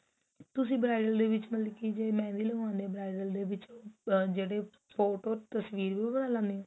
ਤੁਸੀਂ bridal ਦੇ ਵਿੱਚ ਮਤਲਬ ਕੀ ਜੇ ਮੈਂ ਵੀ ਲਵਾਉਂਦੀ ਆ bridal ਦੇ ਵਿੱਚ ਆ ਜਿਹੜੇ photo ਤਸਵੀਰ ਵੀ ਲਾਉਣੇ ਓ